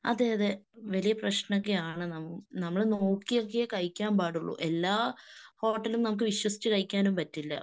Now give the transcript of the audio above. അതെയതെ. വലിയ പ്രശ്‌നമൊക്കെയാണ് നമ്മള് നോക്കിയൊക്കെയേ കഴിക്കാൻപാടുള്ളു. എല്ലാ ഹോട്ടലും നമുക്ക് വിശ്വസിച്ച് കഴിക്കാനും പറ്റില്ല.